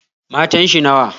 Matan shi nawa?